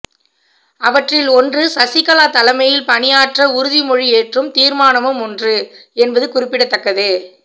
அவற்றில் ஒன்று சசிகலா தலைமையில் பணியாற்ற உறுதிமொழி ஏற்றும் தீர்மானமும் ஒன்று என்பது குறிப்பிடத்தக்கது